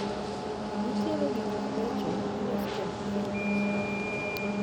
Nitiere gikmabecho molos kod pien e chiro.